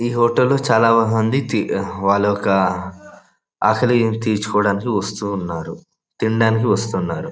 యీ హాటల్ చాలా బాగుంది తి వాళ్ళు ఒక ఆకలి తీర్చుకోడానికి వస్తూ ఉన్నారు తినడానికి వస్తున్నారు.